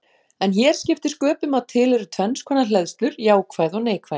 En hér skiptir sköpum að til eru tvenns konar hleðslur, jákvæð og neikvæð.